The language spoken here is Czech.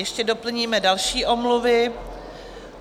Ještě doplníme další omluvy.